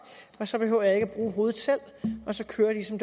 så behøver jeg ikke at bruge hovedet selv og så kører det ligesom